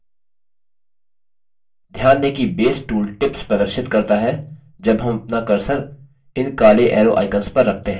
ध्यान दें कि base tool tips प्रदर्शित करता है जब हम अपना cursor इन काले arrow icons पर रखते हैं